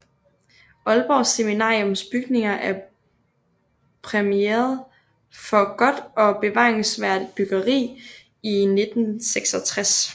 Aalborg Seminariums bygninger er præmieret for godt og bevaringsværdigt byggeri i 1966